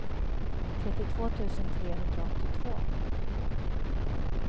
trettiotvå tusen trehundraåttiotvå